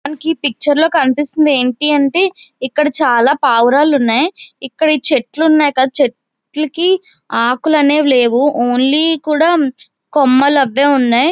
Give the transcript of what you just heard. మనకీ ఈ పిక్చర్ లో కనిపిస్తోంది అంటి అంటే ఇక్కడ చాలా పావురాలు ఉన్నాయ్ ఇక్కడ చెట్లు ఉన్నాయ్ కదా చెట్లుకి ఆకులు అనేవి లేవు ఓన్లీ కూడా కొమ్మలు అవే ఉన్నాయ్.